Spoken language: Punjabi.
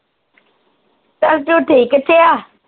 ਤਸ ਤੂੰ ਠੀਕ ਕਿੱਥੇ ਆ